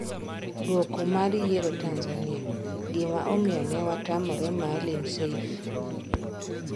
Dwoko mar yiero Tanzania: Gima omiyo newatamore Maalim Seif